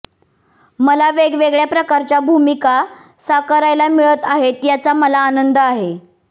मला वेगवेगळ्या प्रकारच्या भूमिका साकारायला मिळत आहेत याचा मला आनंद आहे